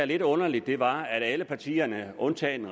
lidt underligt var at alle partierne undtagen